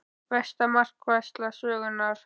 Besta markvarsla sögunnar?